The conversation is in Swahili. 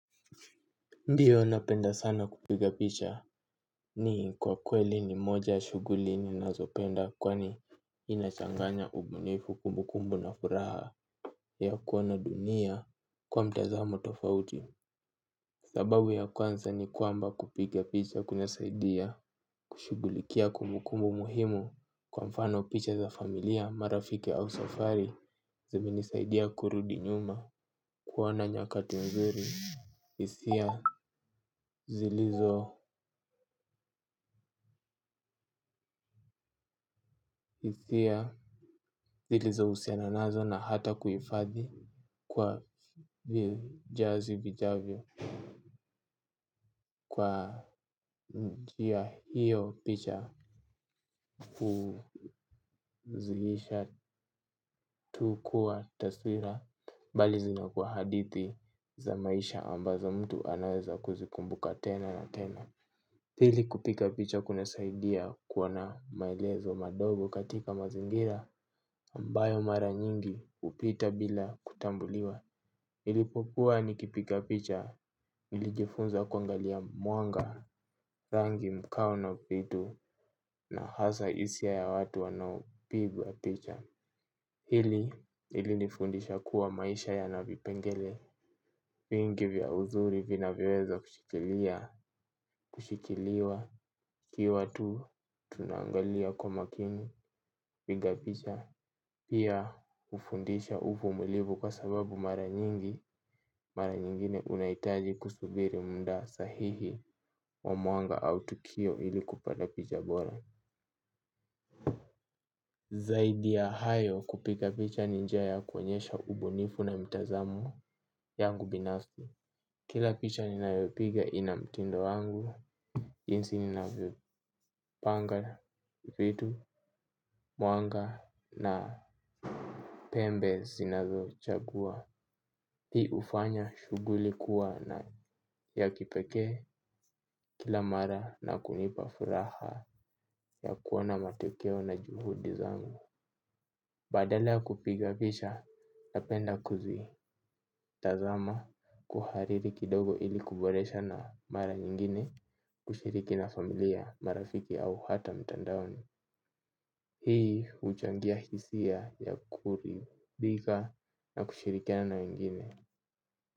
Ndiyo napenda sana kupiga picha ni kwa kweli ni moja ya shuguli ninazopenda kwani inachanganya ubunifu kumukumbu na furaha ya kuona dunia kwa mtazamo tofauti. Sababu ya kwanza ni kwamba kupiga picha kunasaidia kushugulikia kumukumbu muhimu kwa mfano picha za familia marafiki au safari zimenisaidia kurudi nyuma kuwa na nyakati nzuri. Hisia zilizo husiana nazo na hata kufadhi kwa vizazi vijavyo. Kwa njia hiyo picha huzilisha tu kuwa taswira. Mbali zina kuwa hadithi za maisha ambazo mtu anaweza kuzikumbuka tena na tena. Pili kupiga picha kuna saidia kuona maelezo madogo katika mazingira ambayo mara nyingi hupita bila kutambuliwa. Nilipokuwa nikipiga picha nilijifunza kuangalia mwanga rangi mkao na vitu na hasa hisia ya watu wanaopigwa picha. Hili ilinifundisha kuwa maisha yana vipengele, vingi vya uzuri vina vyoweza kushikilia, kushikiliwa, kiwa tu tunangalia kwa makini, piga picha, pia hufundisha uvumulivu kwa sababu mara nyingi, mara nyingine unahitaji kusubiri muda sahihi wa mwanga au tukio ili kupata picha bora. Zaidi ya hayo kupiga picha ni njia ya kuonyesha ubunifu na mtazamo yangu binafsi. Kila picha ninayopiga ina mtindo wangu. Jinsi ninavyopanga vitu mwanga na pembe sinazo chagua. Hii hufanya shuguli kuwa na ya kipeke kila mara na kunipa furaha ya kuona matokeo na juhudi zangu. Badale ya kupiga picha napenda kuzi tazama kuhariri kidogo ili kuboresha na mara nyingine kushiriki na familia marafiki au hata mtandaoni. Hii huchangia hisia ya kuridhika na kushirikia na wengine.